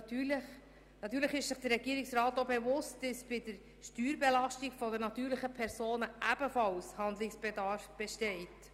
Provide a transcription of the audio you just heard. Natürlich ist sich der Regierungsrat bewusst, dass bei der Steuerbelastung der natürlichen Personen ebenfalls Handlungsbedarf besteht.